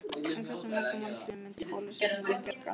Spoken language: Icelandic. En hversu mörgum mannslífum myndi bólusetningin bjarga?